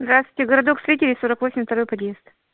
здравствуйте городок строителей сорок восемь второй подъезд